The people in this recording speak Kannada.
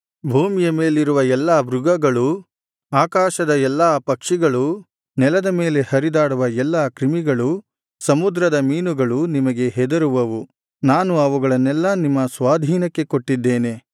ಭೂಮಿಯ ಮೇಲಿರುವ ಎಲ್ಲಾ ಮೃಗಗಳೂ ಆಕಾಶದ ಎಲ್ಲಾ ಪಕ್ಷಿಗಳೂ ನೆಲದ ಮೇಲೆ ಹರಿದಾಡುವ ಎಲ್ಲಾ ಕ್ರಿಮಿಗಳೂ ಸಮುದ್ರದ ಮೀನುಗಳೂ ನಿಮಗೆ ಹೆದರುವವು ನಾನು ಅವುಗಳನ್ನೆಲ್ಲಾ ನಿಮ್ಮ ಸ್ವಾಧೀನಕ್ಕೆ ಕೊಟ್ಟಿದ್ದೇನೆ